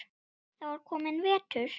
Það var kominn vetur.